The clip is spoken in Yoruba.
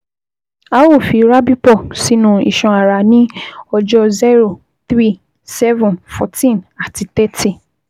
A ó fi Rabipur sínú iṣan ara ní ọjọ́ zero, three, seven, fourteen, àti thirty